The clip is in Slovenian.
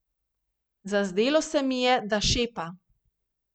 Zazdelo se mi je, da šepa.